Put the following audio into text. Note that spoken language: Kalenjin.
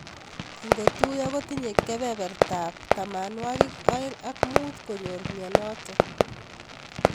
Ingotuyo kotinye kebeberta ab tamwanwakik aeng ak mut konyor mnyenot.